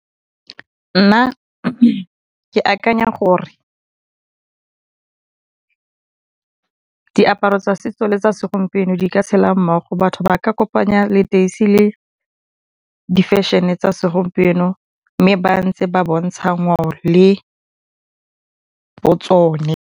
Nna ke akanya gore diaparo tsa setso le tsa segompieno di ka tshela mmogo. Batho ba ka kopanya leteisi le difešhene tsa segompieno mme ba ntse ba bontsha ngwao le bo tsone.